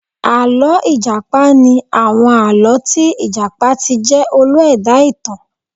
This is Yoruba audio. Àlọ́ ìjàpá ni àwọn àlọ́ tí ìjàpá ti jẹ́ olú ẹ̀dá-ìtàn